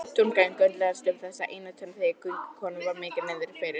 Tungan göndlaðist um þessa einu tönn þegar göngukonunni var mikið niðri fyrir.